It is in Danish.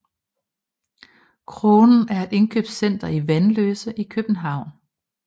Kronen er et indkøbscenter i Vanløse i København